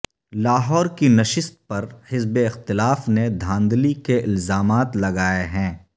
لاہور کی نشست پر حزب اختلاف نے دھاندلی کے الزامات لگائے ہیں